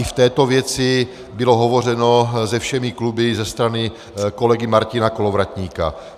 I v této věci bylo hovořeno se všemi kluby ze strany kolegy Martina Kolovratníka.